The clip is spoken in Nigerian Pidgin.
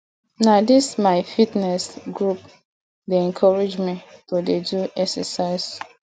na dis my fitness group dey encourage me to dey do exercise